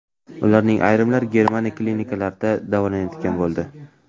Ularning ayrimlari Germaniya klinikalarida davolanadigan bo‘ldi.